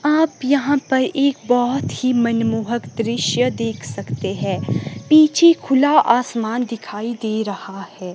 आप यहां पर एक बहोत ही मनमोहक दृश्य देख सकते हैं पीछे खुला आसमान दिखाई दे रहा है।